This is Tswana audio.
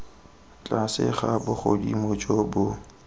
tlase ga bogodimo jo bo